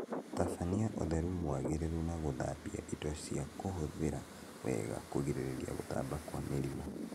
Tabania ũtheru mwagĩrĩru na gũthambia indo cia kũhũthĩra wega kũgirĩrĩria gũtamba kwa mĩrimu